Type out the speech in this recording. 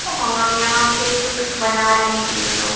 और यहाँ पे कुछ बना रहे हैं ये लोग --